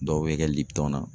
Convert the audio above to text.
Dɔw bɛ kɛ na